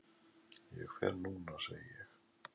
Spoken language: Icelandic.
Ég fer núna, segi ég.